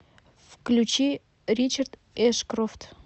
включи ричард эшкрофт